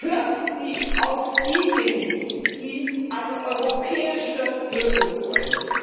Hören Sie auf diejenigen, die eine europäische Lösung wollen!